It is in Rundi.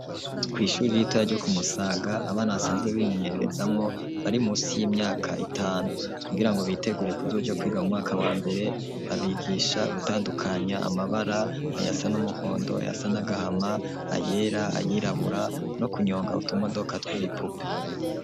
Kw'ishuri ritoya ryo kumusaga abana asanzwe bimenyererezamwo bari musi y'imyaka etanu kugira ngo biteguriye kuzujo kwiga mu mwaka wa mbere abigisha gutandukanya amabara aya sa n'umuhondo ya sa n'agahama ayera ayirabura no kunyonga utumodoka tw'ibipupe.